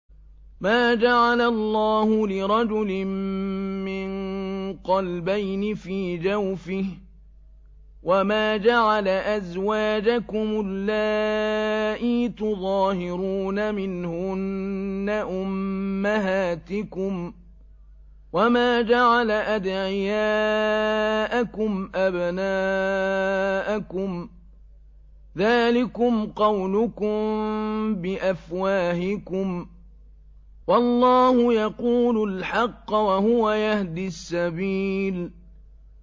مَّا جَعَلَ اللَّهُ لِرَجُلٍ مِّن قَلْبَيْنِ فِي جَوْفِهِ ۚ وَمَا جَعَلَ أَزْوَاجَكُمُ اللَّائِي تُظَاهِرُونَ مِنْهُنَّ أُمَّهَاتِكُمْ ۚ وَمَا جَعَلَ أَدْعِيَاءَكُمْ أَبْنَاءَكُمْ ۚ ذَٰلِكُمْ قَوْلُكُم بِأَفْوَاهِكُمْ ۖ وَاللَّهُ يَقُولُ الْحَقَّ وَهُوَ يَهْدِي السَّبِيلَ